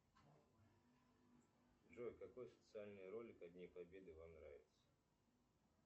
джой какой социальный ролик о дне победы вам нравится